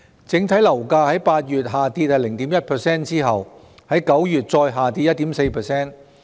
整體樓價在8月下跌 0.1% 後，於9月再下跌 1.4%。